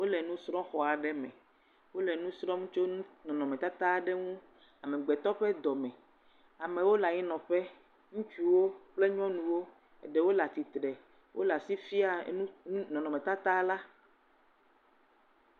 Wole nusrɔ xɔa aɖe me, wole nusrɔm tso nɔnɔmetata ɖe ŋu, amegbetɔ ƒe dɔme, amewo le anyi nɔƒe, ŋutsuwo kple nyɔnuwo, ɖewo le atitre, wole asi fia nɔnɔmetata la.